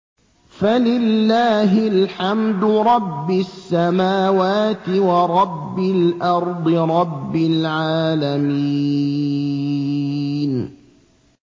فَلِلَّهِ الْحَمْدُ رَبِّ السَّمَاوَاتِ وَرَبِّ الْأَرْضِ رَبِّ الْعَالَمِينَ